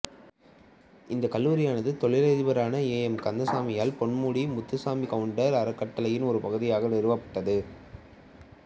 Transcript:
இந்தக்கல்லூரியானது தொழிலதிபரான A M கந்தசாமியால் பொன்முடி முத்துசாமி கவுண்டர் அறக்கட்டளையின் ஒரு பகுதியாக நிறுவப்பட்டது